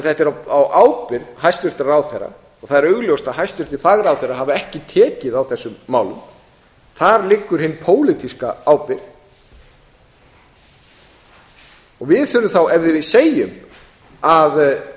þetta er á ábyrgð hæstvirts ráðherra það er augljóst að hæstvirtir fagráðherrar hafa ekki tekið á þessum málum þar liggur hin pólitíska ábyrgð við þurfum ef við segjum að